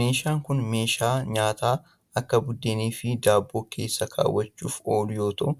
Meeshaan kun meeshaa nyaata akka buddeen fi daabboo keessa kaawwachuuf oolu yoo ta'u,